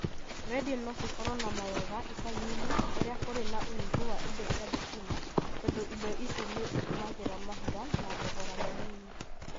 Redio no cikorwo namawega icagi-inĩ kũria kũrĩ na ũnyihũ wa indo cia thitima tondu indo ici nĩ citũmĩraga mahiga na thogora munyinyi.